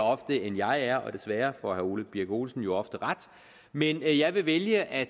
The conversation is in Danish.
ofte end jeg er og desværre får herre ole birk olesen jo ofte ret men jeg vil vælge at